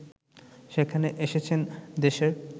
সেখানে এসেছেন দেশের